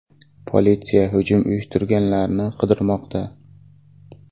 Politsiya hujum uyushtirganlarni qidirmoqda.